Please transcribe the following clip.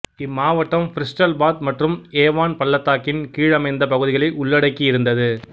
இம்மாவட்டம் Bristol Bath மற்றும் Avon பள்ளத்தாக்கின் கீழமைந்த பகுதிகளை உள்ளடக்கி இருந்தது